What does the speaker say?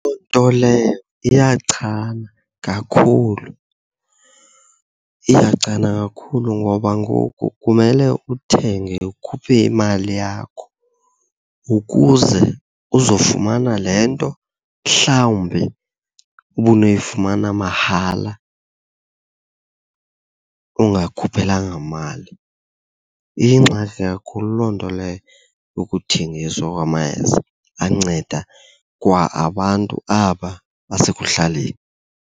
Loo nto leyo iyachana kakhulu. Iyachana kakhulu ngoba ngoku kumele uthenge ukhuphe imali yakho ukuze uzofumana le nto mhlawumbi ubunoyifumana mahala ungayikhuphelanga mali. Iyingxaki kakhulu loo nto leyo yokuthengiswa kwamayeza anceda kwa abantu aba basekuhlaleni.